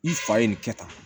I fa ye nin kɛ tan